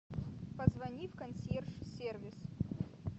позвони в консьерж сервис